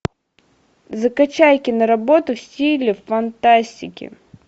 закачай киноработу в стиле фантастики